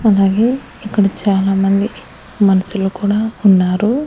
అలాగే ఇక్కడ చాలామంది మనుసులు కూడా ఉన్నారు.